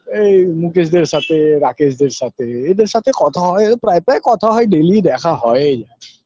এই মুকেশদের সাতে রাকেশদের সাতে এদের সাতে কথা হয় ও প্রায় প্রায় কথা হয় daily দেখা হয় এই